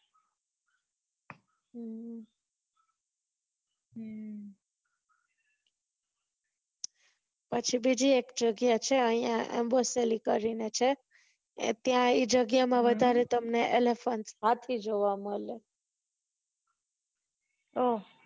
પછી બીજી એક જગ્યા છે યી અયીયા એમ્બસ્ત્રી કરી ને ત્યાં એ જગ્યાએ વધારે તમને elephant હાથી જોવા મળે